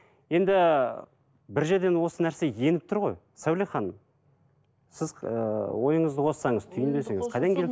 енді бір жерден осы нәрсе еніп тұр ғой сәуле ханым сіз ыыы ойыңызды қоссаңыз түйіндесеңіз қайдан